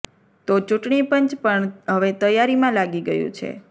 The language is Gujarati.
તો ચુંટણી પંચ પણ હવે તૈયારીમાં લાગી ગયું છે